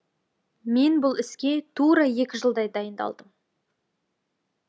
мен бұл іске тура екі жылдай дайындалдым